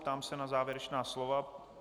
Ptám se na závěrečná slova.